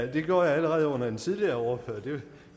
det gjorde jeg allerede under en tidligere og det